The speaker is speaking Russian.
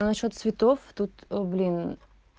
а насчёт цветов тут блин